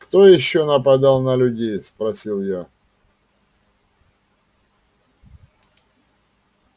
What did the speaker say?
кто ещё нападал на людей спросил я